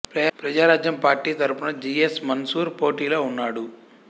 Prajarajyam party తరఫున G S Mansoor పోటీలో ఉన్నాడు